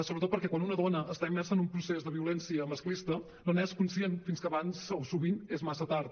sobretot perquè quan una dona està immersa en un procés de violència masclista no n’és conscient fins que sovint és massa tard